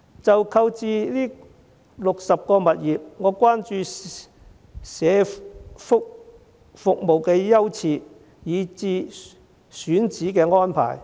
就購置60個物業的做法，我關注社福服務的優次，以至選址的安排。